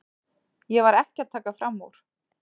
Ég var ekki að taka fram úr.